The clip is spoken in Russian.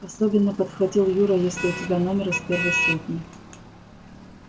особенно подхватил юра если у тебя номер из первой сотни